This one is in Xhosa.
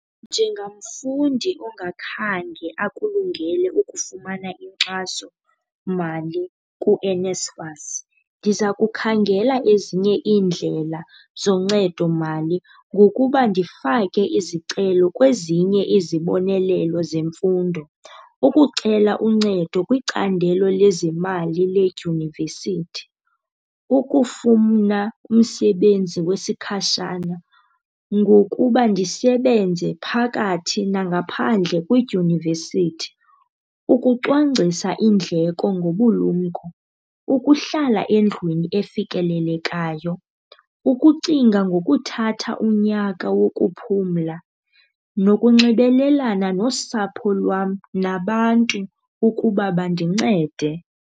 Njengamfundi ongakhange akulungele ukufumana inkxasomali kuNSFAS ndiza kukhangela ezinye iindlela zoncedo mali ngokuba ndifake izicelo kwezinye izibonelelo zemfundo. Ukucela uncedo kwicandelo lezemali ledyunivesithi, ukufuna umsebenzi wesikhashana ngokuba ndisebenze phakathi nangaphandle kwidyunivesithi. Ukucwangcisa iindleko ngobulumko, ukuhlala endlwini efikelelekayo, ukucinga ngokuthatha unyaka wokuphumla nokunxibelelana nosapho lwam nabantu ukuba bandincede.